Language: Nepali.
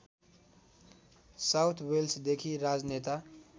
साउथ वेल्सदेखि राजनेता